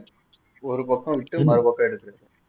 ஒரு பக்கம் விட்டு மறுபக்கம் எடுக்கிறது